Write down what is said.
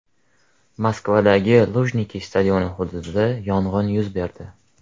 Moskvadagi Lujniki stadioni hududida yong‘in yuz berdi.